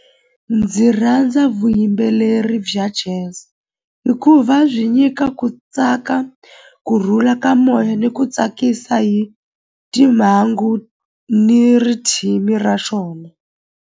Ndzi rhandza vuyimbeleri bya jazz hikuva byi nyika ku tsaka kurhula ka moya ni ku tsakisa hi timhangu ni ra xona.